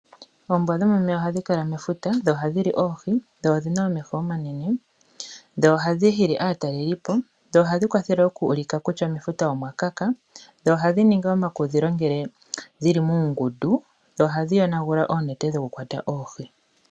Oombwa dhomeya ohadhi kala mefuta. Dho ohadhi li oohi. Odhina omeho omanene. Dho ohadhi hili aatalelipo. Dho ohadhi kwathele oku ulika kutya mefuta omwa luudha. Dho ohadhi ningi omakudhilo ngele dhili muungundu. Dho ohadhi yonagula oonete dhoku kwata oohi.